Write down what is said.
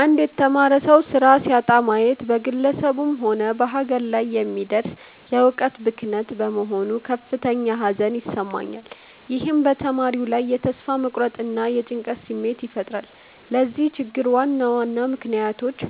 አንድ የተማረ ሰው ሥራ ሲያጣ ማየት በግለሰቡም ሆነ በሀገር ላይ የሚደርስ የዕውቀት ብክነት በመሆኑ ከፍተኛ ሐዘን ይሰማኛል። ይህም በተማሪው ላይ የተስፋ መቁረጥና የጭንቀት ስሜት ይፈጥራል። ለዚህ ችግር ዋና ዋና ምክንያቶች፦